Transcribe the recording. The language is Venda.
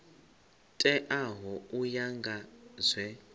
teaho u ya nga zwe